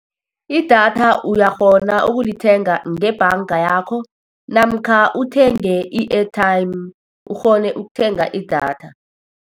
I-data uyakghona ukulithenga ngebhanga yakho, namkha uthenge i-airtime, ukghone ukuthenga i-data.